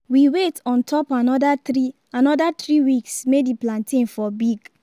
we wait on top another three another three weeks may the plantain for big